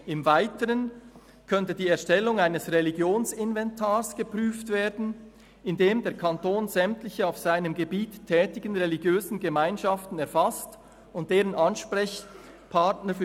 Im Weiteren könnte die Erstellung eines ‹Religionsinventars› geprüft werden, in dem der Kanton sämtliche auf seinem Gebiet tätigen religiösen Gemeinschaften erfasst und deren […] Ansprechpartner […